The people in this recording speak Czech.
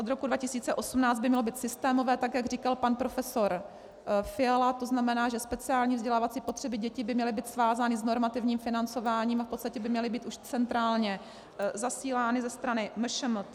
Od roku 2018 by mělo být systémové, tak jak říkal pan profesor Fiala, to znamená, že speciální vzdělávací potřeby dětí by měly být svázány s normativním financováním a v podstatě by měly být už centrálně zasílány ze strany MŠMT.